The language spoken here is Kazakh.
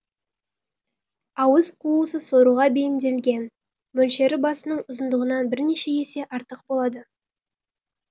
ауыз қуысы соруға бейімделген мөлшері басының ұзындығынан бірнеше есе артық болады